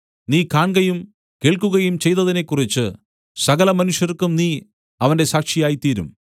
നീ കാൺകയും കേൾക്കുകയും ചെയ്തതിനെക്കുറിച്ച് സകലമനുഷ്യർക്കും നീ അവന്റെ സാക്ഷിയായിത്തീരും